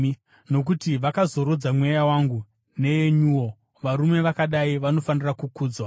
Nokuti vakazorodza mweya wangu neyenyuwo. Varume vakadai vanofanira kukudzwa.